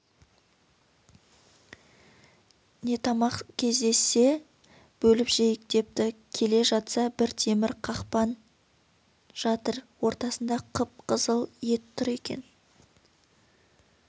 нетамақ кездессе бөліп жейік депті келе жатса бір темір қақпан жатыр ортасында қып-қызыл ет тұр екен